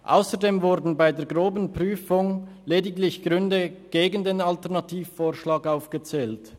Ausserdem wurden bei der groben Prüfung lediglich Gründe gegen den Alternativvorschlag aufgezählt.